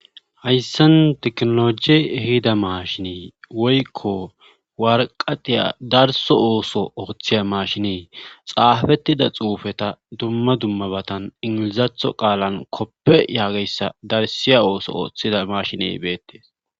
hayssan teknoloji ehida maashinen woykko warqatiya darso ooso ooththiya mashinee xaafettida xuufeta dumma dummabatan ingilizatho qaalan koppe yaageyssa darsiya ooso ooththida mashiney beettees